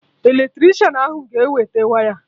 Eletricịanahụ ga-ewete waya